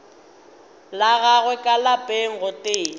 la gagwe ka lapeng gotee